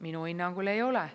Minu hinnangul ei ole.